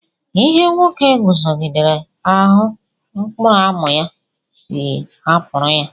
Ihe nwoke zọgidere ahụ mkpụrụ amụ ya, sị hapụrụ ya